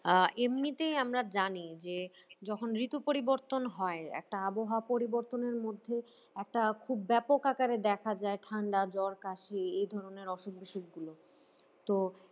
আহ এমনিতেই আমরা জানি যে যখন ঋতু পরিবর্তন হয় একটা আবহাওয়া পরিবর্তনের মধ্যে একটা খুব ব্যাপক আকারে দেখা যায় ঠান্ডা জ্বর কাশি এই ধরনের অসুখ বিষুক গুলো তো